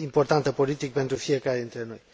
importantă politic pentru fiecare dintre noi.